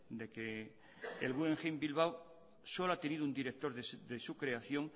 de que el guggenheim bilbao solo ha tenido un director de su creación